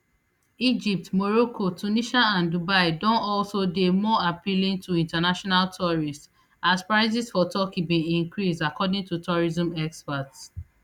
egypt morocco tunisia and dubai don also dey more appealing to international tourists as prices for turkey bin increase according to tourism experts